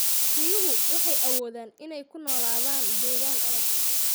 Riyuhu waxay awoodaan inay ku noolaadaan deegaan adag.